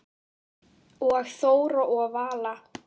Og Þóra og Vala?